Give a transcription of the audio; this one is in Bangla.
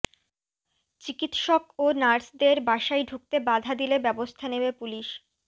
চিকিৎসক ও নার্সদের বাসায় ঢুকতে বাধা দিলে ব্যবস্থা নেবে পুলিশ